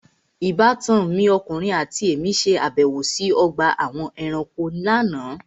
Ìbátan mi ọkùnrin àti èmí ṣe àbẹ̀wò sí ọgbà àwọn ẹranko lánàá.